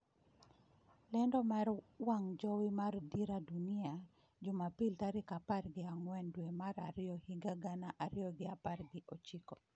Lendo mar wang' jowi mar Dira Dunia, Jumapil tarik apar gi ang'wen dwe mar ariyo higa gana ariyo gi apar gi ochiko